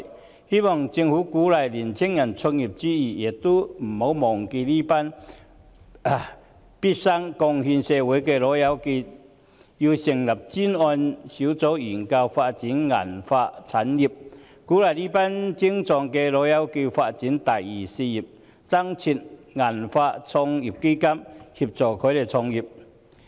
我希望政府鼓勵青年人創業之餘，也不要忘記這群畢生貢獻社會的"老友記"，應成立專責小組研究發展銀髮產業、鼓勵這群精壯的"老友記"發展"第二事業"，以及增設"銀髮創業基金"協助他們創業。